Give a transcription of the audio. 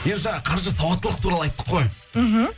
енді жаңа қаржы сауаттылық туралы айттық қой мхм